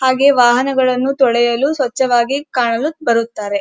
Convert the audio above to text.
ಹಾಗೆ ವಾಹನಗಳನ್ನು ತೊಳೆಯಲು ಸ್ವಚ್ಛವಾಗಿ ಕಾಣಲು ಬರುತ್ತಾರೆ.